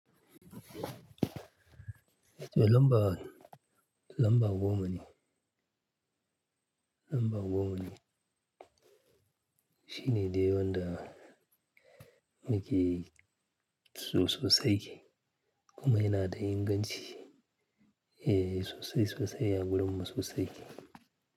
Lamba, lamba goma ne, lamba goma ne. Shi ne daya wanda muke so sosai kuma yana da inganci. Eh sosai sosai, a gurin mu sosai.